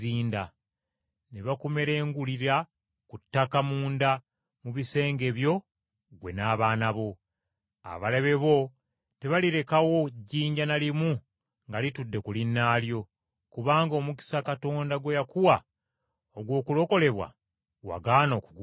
ne bakumerengulira ku ttaka munda mu bisenge byo ggwe n’abaana bo. Abalabe bo tebalirekawo jjinja na limu nga litudde ku linnaalyo, kubanga omukisa Katonda gwe yakuwa ogw’okulokolebwa wagaana okugukozesa.”